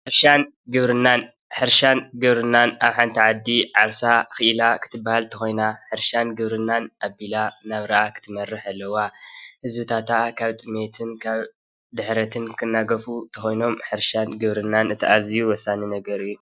ሕርሻን ግብሪናን ሕርሻን ግብሪናን ኣብ ሓንቲ ዓዲ ዓርሳ ክእላ ክትበሃል እንተኮይና ሕርሻን ግብርናን ኣቢላ ናብራ ክትመርሕ ኣለዋ:: ካብ ጥመትን ድሕረትን ክናገፉ እንተኮይኖም ሕርሻን ግብርናን ተኣዝዩ ወሳኒ ነገር እዩ።